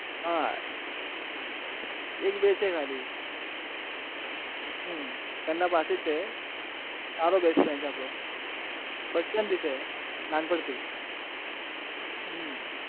હા એક બે છે ખાલી હમમ સારો best friend છે નાનપણ થી હમમ